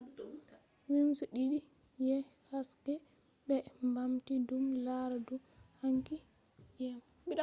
beams didi je haske be bamti dum lara dou hanki jemma